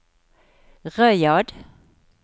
Riyadh